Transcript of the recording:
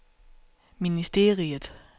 ministeriet